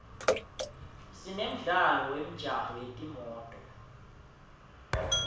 sinemdlalo wemjaho yetimoto